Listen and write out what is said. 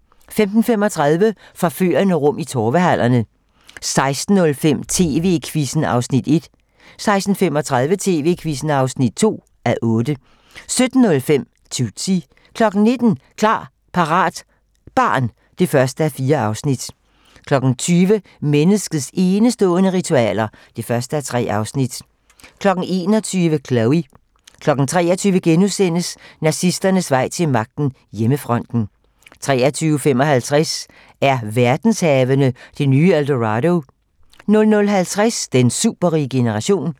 15:35: Forførende rum i Torvehallerne 16:05: TV-Quizzen (1:8) 16:35: TV-Quizzen (2:8) 17:05: Tootsie 19:00: Klar, parat - barn (1:4) 20:00: Menneskets enestående ritualer (1:3) 21:00: Chloe 23:00: Nazisternes vej til magten: Hjemmefronten * 23:55: Er verdenshavene det nye El Dorado? 00:50: Den superrige generation